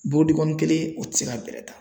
Bolodenkɔni kelen o ti se ka bɛlɛ ta .